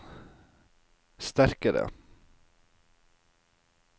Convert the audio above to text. sterkare